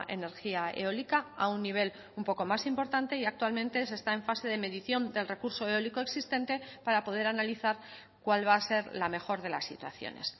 energía eólica a un nivel un poco más importante y actualmente se está en fase de medición del recurso eólico existente para poder analizar cuál va a ser la mejor de las situaciones